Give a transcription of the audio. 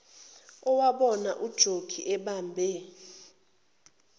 owabona ujokhi ebambe